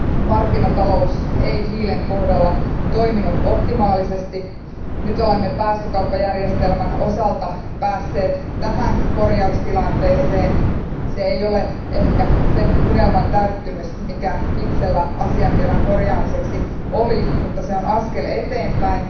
Markkinatalous ei hiilen kohdalla toiminut optimaalisesti. Nyt olemme päästökauppajärjestelmän osalta päässeet tähän korjaustilanteeseen. Se ei ole ehkä sen unelman täyttymys, mikä itselläni asiantilan korjaamiseksi oli, mutta se on askel eteenpäin.